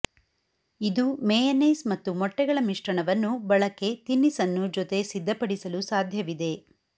ಇದು ಮೇಯನೇಸ್ ಮತ್ತು ಮೊಟ್ಟೆಗಳ ಮಿಶ್ರಣವನ್ನು ಬಳಕೆ ತಿನಿಸನ್ನು ಜೊತೆ ಸಿದ್ಧಪಡಿಸಲು ಸಾಧ್ಯವಿದೆ